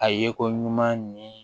A ye ko ɲuman ɲini